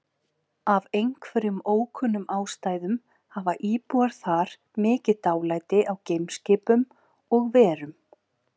Af einhverjum ókunnum ástæðum hafa íbúar þar mikið dálæti á geimskipum og-verum.